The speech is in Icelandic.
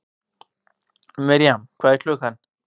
Mirjam, hvað er klukkan?